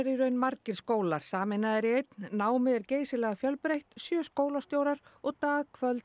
í raun margir skólar sameinaðir í einn námið er geysilega fjölbreytt sjö skólastjórar og dag kvöld